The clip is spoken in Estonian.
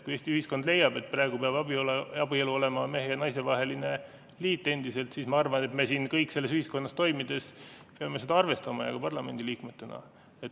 Kui Eesti ühiskond leiab, et praegu peab abielu olema endiselt mehe ja naise vaheline liit, siis ma arvan, et me kõik siin selles ühiskonnas toimides peame seda arvestama ka parlamendi liikmetena.